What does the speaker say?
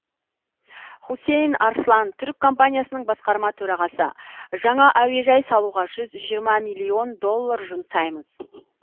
хусейн арслан түрік компаниясының басқарма төрағасы жаңа әуежай салуға жүз жүз жиырма миллион доллар жұмсаймыз